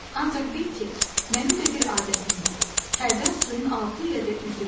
Ancaq bil ki, mənim də bir adətim var, hərdən suyun altı ilə də üzürəm.